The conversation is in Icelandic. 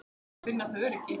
Þá finna þau öryggi.